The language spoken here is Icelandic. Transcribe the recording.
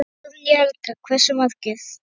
Guðný Helga: Hversu margir?